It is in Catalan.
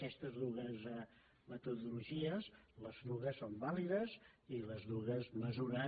aquestes dues metodologies les dues són và·lides i les dues mesuren